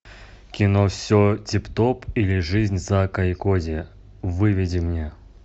кино все тип топ или жизнь зака и коди выведи мне